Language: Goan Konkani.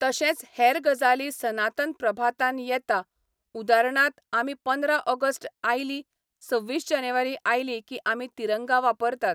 तशेंच हेर गजाली सनातन प्रभातान येता उदारणात आमी पंदरा ऑगस्ट आयली सव्वीस जानेवारी आयली की आमी तिरंगा वापरतात